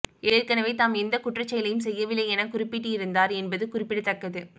ஏற்கனவே தாம் எந்தக் குற்றச் செயலையும் செய்யவில்லை என குறிப்பிட்டிருந்தார் என்பது குறிப்பிடத்தக்கது